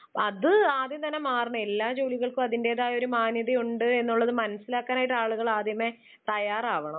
അത് ആദ്യം തന്നെ മാറണം. എല്ലാ ജോലിക്കും അതിന്റേതായ ഒരു മാന്യത ഉണ്ട് എന്നുള്ളത് മനസ്സിലാക്കാനായിട്ട് ആളുകൾ ആദ്യമേ തയ്യാറാവണം.